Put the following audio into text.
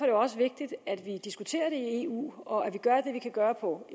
jo også vigtigt at vi diskuterer det i eu og at vi gør hvad vi kan gøre på